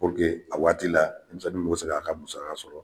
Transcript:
a waati la demisɛnnu mi se ka a ka musaka sɔrɔ